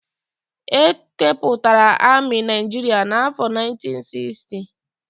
E kepụtara amị Naijiria n'afọ 1960.